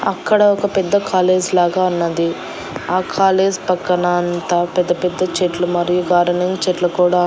అక్కడ ఒక పెద్ద కాలేజ్ లాగా ఉన్నది ఆ కాలేజ్ పక్కన అంతా పెద్ద పెద్ద చెట్లు మరియు గార్డెనింగ్ చెట్లు కూడా--